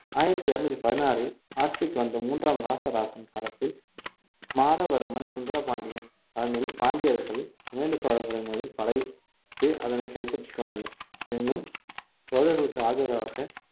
ஆயிரத்தி இருநூத்தி பதினாறில் ஆட்சிக்கு வந்த மூன்றாம் ராசராசன் காலத்தில் மாறவர்மன் சுந்தரபாண்டியன் தலைமையில் பாண்டியர்கள் கங்கைகொண்ட சோழபுரம் மீது படை~ அதனை கைப்பற்றிக் கொண்டனர் எனினும் சோழர்களுக்கு ஆதரவாக